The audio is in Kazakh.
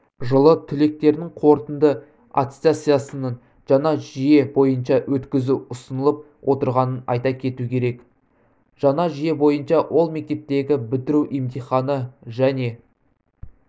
жылы түлектердің қорытынды аттестациясын жаңа жүйе бойынша өткізу ұсынылып отырғанын айта кету керек жаңа жүйе бойынша ол мектептегі бітіру емтиханы және